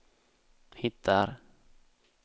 hittar